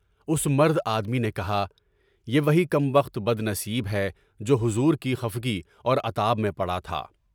اُس مرد آدمی نے کہا، یہ وہی کم بخت بد نصیب ہے جو حضور کی خفلی اور عطاآب میں پڑا تھا۔